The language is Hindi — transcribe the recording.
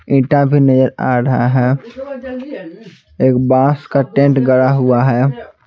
ईंटा भी नजर आ रहा है एक बांस का टेंट गड़ा हुआ है।